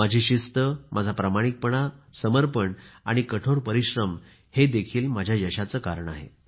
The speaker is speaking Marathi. माझी शिस्त माझा प्रामाणिकपणा समर्पण आणि कठोर परिश्रम हे देखील माझ्या यशाचे कारण आहे